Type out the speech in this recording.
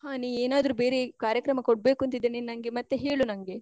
ಹಾ ನೀ ಏನ್ ಆದ್ರು ಬೇರೆ ಕಾರ್ಯಕ್ರಮ ಕೊಡ್ಬೇಕು ಅಂತಿದ್ರೆ ನೀನ್ ನಂಗೆ ಮತ್ತೆ ಹೇಳು ನಂಗೆ.